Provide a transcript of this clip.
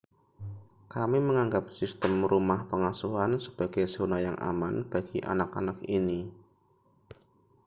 kami menganggap sistem rumah pengasuhan sebagai zona yang aman bagi anak-anak ini